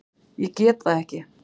Ég get það ekki